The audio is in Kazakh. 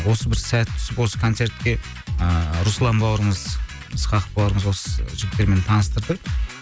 осы бір сәті түсіп осы концертке ыыы руслан бауырымыз ысқақов бауырымыз осы жігіттермен таныстырды